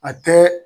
A tɛ